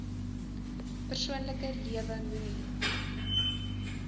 persoonlike lewe moenie